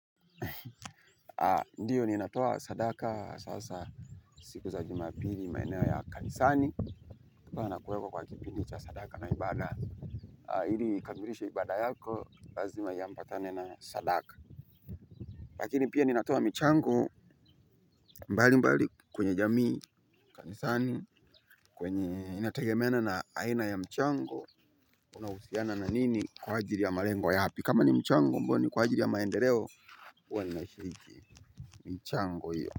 Ndiyo ni inatoa sadaka sasa siku za juma pili maenewo ya kanisani. Kwa na kuweko kwa kipindicha sadaka na ibada. Hili kambirisha ibada yako lazima yampatane na sadaka. Lakini pia ni inatoa mchango mbali mbali kwenye jamii kanisani kwenye inategemena na aina ya mchango. Unausiana na nini kwa ajili ya malengo yapi kama ni mchango mboni kwa ajiri ya maendeleo uwa ninaishiki. Mchango hiyo.